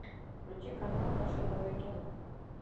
включи канал наше новое кино